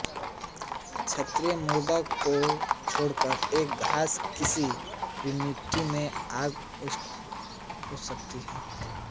छारीय मृदा को छोड़कर यह घास किसी भी मिट्टी में उग सकती है